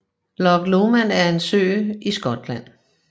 Loch Lomond er en sø i Skotland